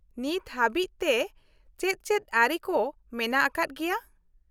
-ᱱᱤᱛ ᱦᱟᱹᱵᱤᱡ ᱛᱮ ᱪᱮᱫ ᱪᱮᱫ ᱟᱹᱨᱤ ᱠᱚ ᱢᱮᱱᱟᱜ ᱟᱠᱟᱫ ᱜᱮᱭᱟ ?